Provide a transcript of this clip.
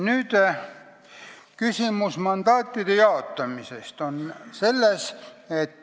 Nüüd mandaatide jaotamise küsimus.